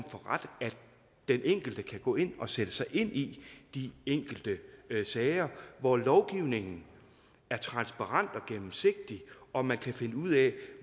den enkelte kan gå ind og sætte sig ind i de enkelte sager hvor lovgivningen er transparent og gennemsigtig og man kan finde ud af